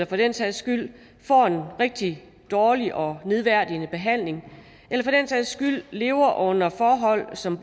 for den sags skyld får en rigtig dårlig og nedværdigende behandling eller lever under forhold som